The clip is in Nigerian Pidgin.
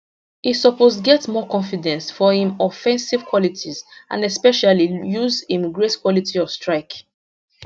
e suppose get more confidence for im offensive qualities and especially use im great quality of strike